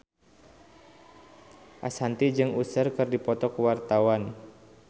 Ashanti jeung Usher keur dipoto ku wartawan